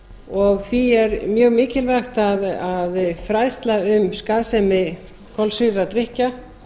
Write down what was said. og því er mjög mikilvægt að fræðsla um skaðsemi kolsýrðra drykkja